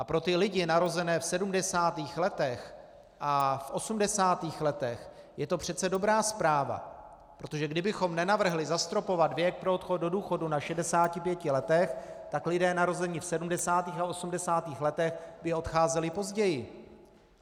A pro ty lidi narozené v 70. letech a v 80. letech je to přece dobrá zpráva, protože kdybychom nenavrhli zastropovat věk pro odchod do důchodu na 65 letech, tak lidé narození v 70. a 80. letech by odcházeli později.